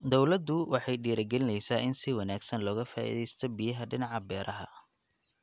Dawladdu waxay dhiirigelinaysaa in si wanaagsan looga faa'iidaysto biyaha dhinaca beeraha.